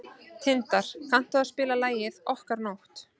Tindar, kanntu að spila lagið „Okkar nótt“?